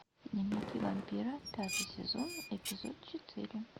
дневники вампира пятый сезон эпизод четыре